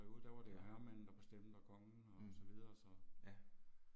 Ja. Mh. Ja